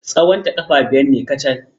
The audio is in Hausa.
Tsawonta ƙafa biyar ne kacal.